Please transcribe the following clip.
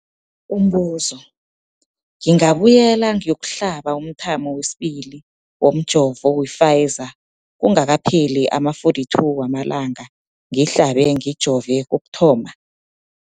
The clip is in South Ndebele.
Umbuzo, ngingabuyela ngiyokuhlaba umthamo wesibili womjovo we-Pfizer kungakapheli ama-42 wamalanga ngihlabe, ngijove kokuthoma.